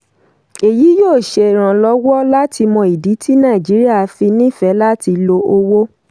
èyí yóò ṣèrànlọ́wọ́ láti mọ ìdí tí nàìjíríà fi nífẹ̀ẹ́ láti lo owó.